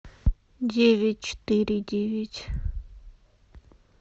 девять четыре девять